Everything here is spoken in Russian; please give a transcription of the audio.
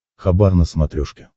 хабар на смотрешке